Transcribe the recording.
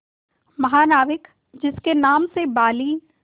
महानाविक जिसके नाम से बाली